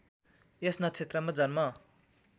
यस नक्षत्रमा जन्म